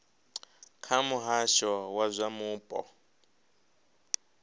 kha muhasho wa zwa mupo